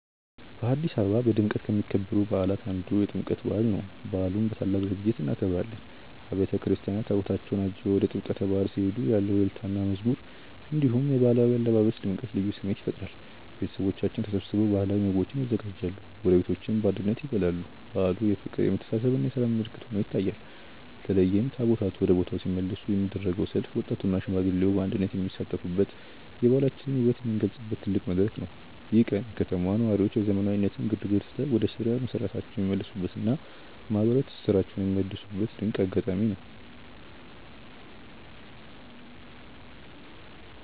በአዲስ አበባ በድምቀት ከሚከበሩ በዓላት አንዱ የጥምቀት በዓል ነው። በዓሉን በታላቅ ዝግጅት እናከብራለን። አብያተ ክርስቲያናት ታቦታታቸውን አጅበው ወደ ጥምቀተ ባሕር ሲሄዱ ያለው እልልታና መዝሙር፣ እንዲሁም የባህላዊ አለባበስ ድምቀት ልዩ ስሜት ይፈጥራል። ቤተሰቦቻችን ተሰብስበው ባህላዊ ምግቦችን ያዘጋጃሉ፤ ጎረቤቶችም በአንድነት ይበላሉ። በዓሉ የፍቅር፣ የመተሳሰብና የሰላም ምልክት ሆኖ ይታያል። በተለይም ታቦታቱ ወደ ቦታው ሲመለሱ የሚደረገው ሰልፍ ወጣቱና ሽማግሌው በአንድነት የሚሳተፉበት፣ የባህላችንን ውበት የምንገልጽበት ትልቅ መድረክ ነው። ይህ ቀን የከተማዋ ነዋሪዎች የዘመናዊነት ግርግርን ትተው ወደ ስር መሰረታቸው የሚመለሱበትና ማህበራዊ ትስስራቸውን የሚያድሱበት ድንቅ አጋጣሚ ነው።